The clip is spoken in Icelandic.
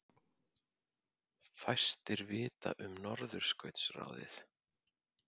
Fæstir vita um Norðurskautsráðið